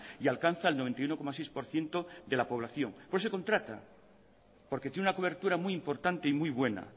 y alcanza el noventa y uno coma seis por ciento de la población por eso contrata porque tiene una cobertura muy importante y muy buena